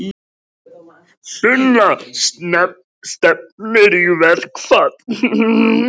Sunna: Stefnir í verkfall?